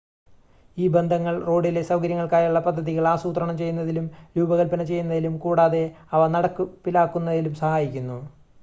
ഈ ബന്ധങ്ങൾ റോഡിലെ സൗകര്യങ്ങൾക്കായുള്ള പദ്ധതികൾ ആസൂത്രണം ചെയ്യുന്നതിനും രൂപകൽപ്പന ചെയ്യുന്നതിനും കൂടാതെ അവ നടപ്പിലാക്കുന്നതിനും സഹായിക്കുന്നു